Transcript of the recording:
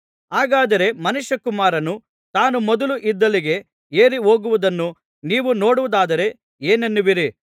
ಹಾಗಾದರೆ ಮನುಷ್ಯಕುಮಾರನು ತಾನು ಮೊದಲು ಇದ್ದಲ್ಲಿಗೆ ಏರಿ ಹೋಗುವುದನ್ನು ನೀವು ನೋಡುವುದಾದರೆ ಏನನ್ನುವಿರಿ